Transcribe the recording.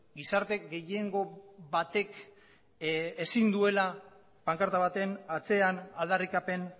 gizarte gehiengo batek ezin duela pankarta baten atzean aldarrikapen